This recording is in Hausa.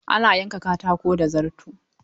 Ana yanka katako da zarto.